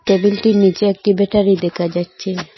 টেবিলটির নীচে একটি বেটারি দেকা যাচ্চে।